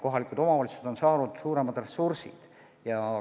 Kohalikud omavalitsused on saanud suuremad ressursid.